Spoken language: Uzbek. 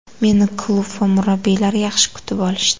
Meni klub va murabbiylar yaxshi kutib olishdi.